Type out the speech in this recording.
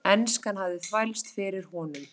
Enskan hafði þvælst fyrir honum.